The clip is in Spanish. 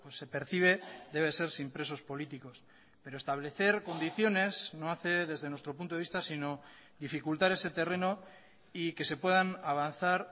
se percibe debe ser sin presos políticos pero establecer condiciones no hace desde nuestro punto de vista sino dificultar ese terreno y que se puedan avanzar